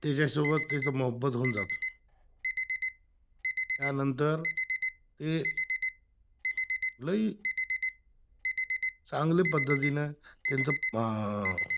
त्याच्यासोबत त्याचा मोहब्बत होऊन जातो, त्यानंतर त लय चांगल्या पद्धतीने त्याचं अह